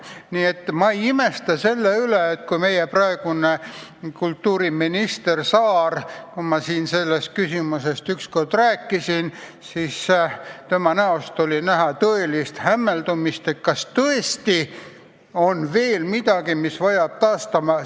Nii et ma ei imesta selle üle, et kui ma siin sellest küsimusest ükskord rääkisin, siis peegeldus kultuuriminister Saare näol tõeline hämmeldus, et kas tõesti on veel midagi, mis vajab taastamist.